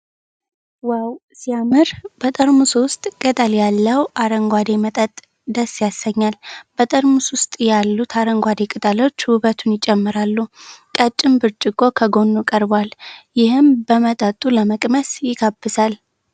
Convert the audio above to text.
ዋው ሲያምር! በጠርሙሱ ውስጥ ቅጠል ያለው አረንጓዴ መጠጥ ደስ ያሰኛል። በጠርሙስ ውስጥ ያሉት አረንጓዴ ቅጠሎች ውበቱን ይጨምራሉ። ቀጭን ብርጭቆ ከጎኑ ቀርቧል፣ ይህም መጠጡን ለመቅመስ ይጋብዛል።